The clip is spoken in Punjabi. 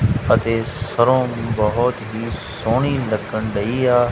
ਅਤੇ ਸਰੋਂ ਬਹੁਤ ਹੀ ਸੋਹਣੀ ਲੱਗਣ ਡਈ ਆ।